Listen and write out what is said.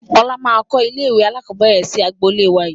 Ọlá máa kọ ilé ìwé alakọ̀bẹ́ẹ́rẹ̀ sì agboolé wá yii